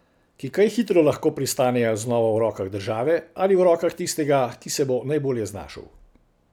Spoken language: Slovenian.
Ki kaj hitro lahko pristanejo znova v rokah države, ali v rokah tistega, ki se bo najbolje znašel.